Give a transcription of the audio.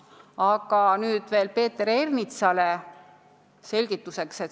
Aga nüüd veel Peeter Ernitsale selgituseks.